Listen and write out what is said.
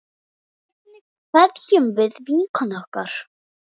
Hvernig kveðjum við vinkonu okkar?